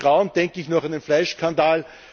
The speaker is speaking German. Mit Grauen denke ich noch an den Fleischskandal